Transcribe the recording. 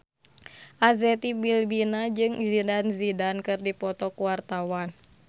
Arzetti Bilbina jeung Zidane Zidane keur dipoto ku wartawan